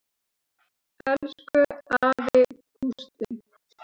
Elsku afi Gústi.